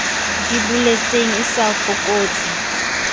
di boletseng e sa fokotse